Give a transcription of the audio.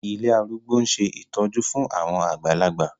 Ilé arúgbó ń ṣe ìtọ́jú fún àwọn àgbàlagbà